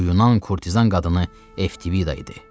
Bu Yunan kurtizan qadını Eftivida idi.